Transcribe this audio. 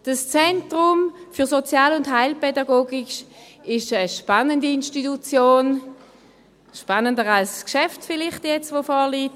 Das ZSHKK ist eine spannende Institution – spannender vielleicht als das Geschäft, das jetzt vorliegt.